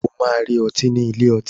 O máa rí ọtí nílé ọtí.